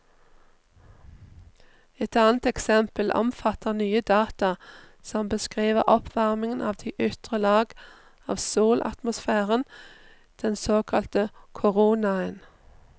Et annet eksempel omfatter nye data som beskriver oppvarmingen av de ytre lag av solatmosfæren, den såkalte koronaen.